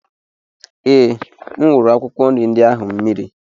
Ee, M wuru akwụkwọ nri ndị ahụ mmiri.